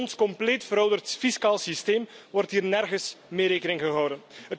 In ons compleet verouderd fiscaal systeem wordt hier nergens mee rekening gehouden.